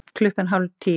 Klukkan hálf tíu